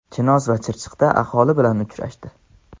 Chinoz va Chirchiqda aholi bilan uchrashdi.